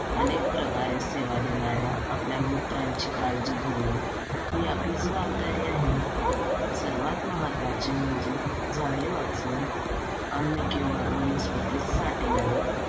अनेक प्रकारे सेवा देणाऱ्या आपल्या मित्रांची काळजी घेणे, ही आपली जबाबदारी आहे. सर्वांत महत्त्वाचे म्हणजे झाडे वाचवून आम्ही किंवा वनस्पतीच देणारे